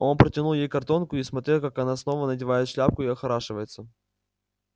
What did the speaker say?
он протянул ей картонку и смотрел как она снова надевает шляпку и охорашивается